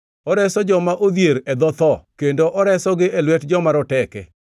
Oreso joma odhier e dho tho; kendo oresogi e lwet joma roteke.